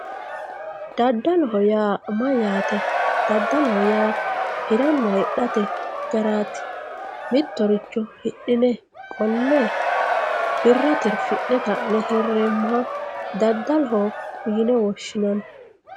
daddaloho yaa mayyaate daddaloho yaa hiranna hidhate garaati mittoricho hidhine qole birra tirfi'ne ka'ne hireemoha daddaloho yine woshshinanni.